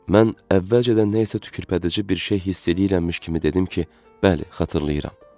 Mən əvvəlcədən nə isə tükürpədici bir şey hiss eləyirmiş kimi dedim ki, bəli, xatırlayıram.